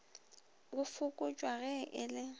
go fokotšwa ge e le